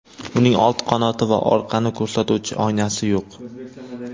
Uning old qanoti va orqani ko‘rsatuvchi oynasi yo‘q.